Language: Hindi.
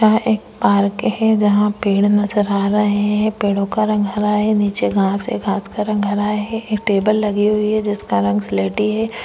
यहाँ एक पार्क है जहां पेड़ नजर आ रहे हैं पेड़ों का रंग हरा है नीचे घास है घास का रंग हरा है ये टेबल लगे हुई हैं टेबल लगी हुई है जिसका रंग स्लेटी है --